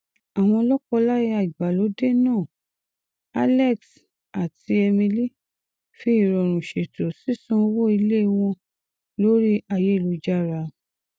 àwọn lọkọláya ìgbàlódé náà alex àti emily fi ìrọrùn ṣètò sísan owó ilé wọn lórí ayélujára